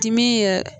Dimi yɛrɛ